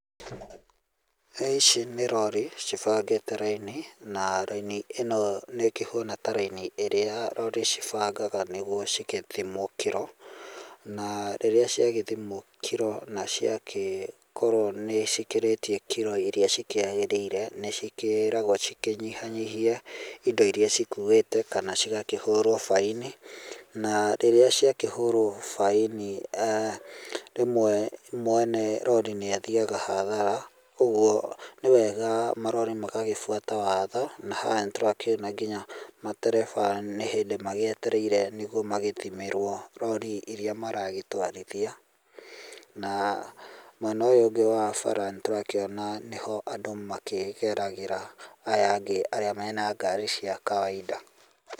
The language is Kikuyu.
Ici nĩ rori cibangĩte raini, na raini ĩno nĩ ĩkĩhana ta raini iria rori cibangaga nĩguo cigĩthimwo kiro, na rĩrĩa ciagĩthimwo kiro na ciakĩkorwo nĩ cikĩrĩtie kiro iria cikĩagĩrĩire, nĩcikĩĩragwo cikĩnyihanyihie indo iria cikuĩte, kana cigakihũrwo faĩni na rĩrĩa ciakĩhũrwo faĩni rĩmwe mwene rori nĩ athiaga hathara, ũguo nĩ wega marori magagĩbuata watho, na haha nĩtũrakĩona nginya matereba nĩ hĩndĩ magĩetereire nĩguo magĩthimĩrwo rori iria maragĩtwarithia. Na mwena ũyũ ũngĩ wa bara nĩtũrakĩona nĩho andũ makĩgeragĩra, aya angĩ arĩa mena ngari cia kawainda.